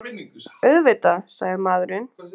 Auðvitað, sagði maðurinn.